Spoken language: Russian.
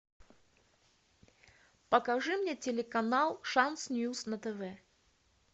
покажи мне телеканал шанс ньюз на тв